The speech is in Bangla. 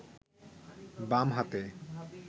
বাম হাতে